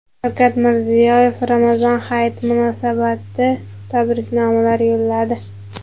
Shavkat Mirziyoyev Ramazon hayiti munosabati tabriknomalar yo‘lladi.